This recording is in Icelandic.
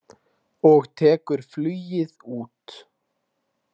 Og tekur flugið út.